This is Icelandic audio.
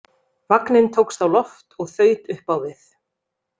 Vagninn tókst á loft og þaut upp á við.